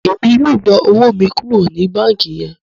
Èmi yóò yọ owo mí kuro ní banki yẹn